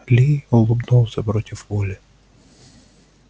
ли улыбнулся против воли